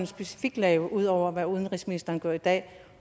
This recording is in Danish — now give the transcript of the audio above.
specifikt lave ud over hvad udenrigsministeren gør i dag